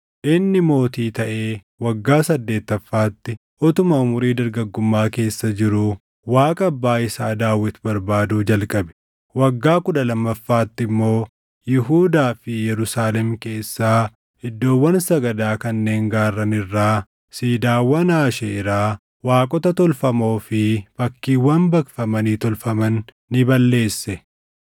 Inni mootii taʼee waggaa saddeettaffaatti utuma umurii dargaggummaa keessa jiruu Waaqa abbaa isaa Daawit barbaaduu jalqabe. Waggaa kudha lammaffaatti immoo Yihuudaa fi Yerusaalem keessaa iddoowwan sagadaa kanneen gaarran irraa, siidaawwan Aasheeraa, waaqota tolfamoo fi fakkiiwwan baqfamanii tolfaman ni balleesse.